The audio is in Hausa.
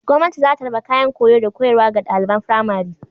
Gwamnati za ta raba kayan koyo da koyarwa ga ɗaliban firamari.